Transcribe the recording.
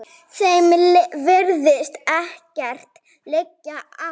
Þeim virðist ekkert liggja á.